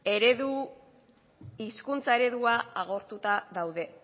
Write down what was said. ereduak agortuta daude